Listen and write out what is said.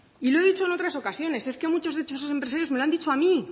y lo he dicho en otras ocasiones es que en muchos de esos empresarios me lo han dicho a mí